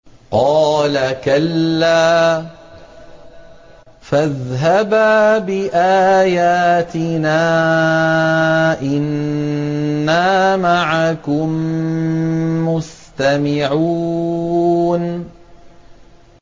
قَالَ كَلَّا ۖ فَاذْهَبَا بِآيَاتِنَا ۖ إِنَّا مَعَكُم مُّسْتَمِعُونَ